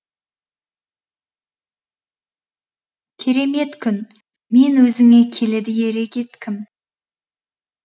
керемет күн мен өзіңе келеді ере кеткім